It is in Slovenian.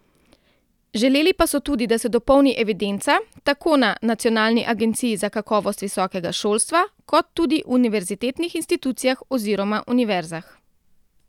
Želeli pa so tudi, da se dopolni evidenca, tako na nacionalni agenciji za kakovost visokega šolstva, kot tudi univerzitetnih institucijah oziroma univerzah.